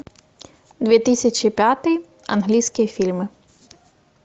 две тысячи пятый английские фильмы